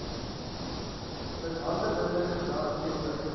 mishandelende gedrag teenoor